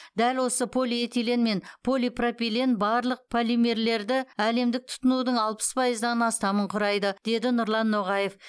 дәл осы полиэтилен мен полипропилен барлық полимерлерді әлемдік тұтынудың алпыс пайыздан астамын құрайды деді нұрлан ноғаев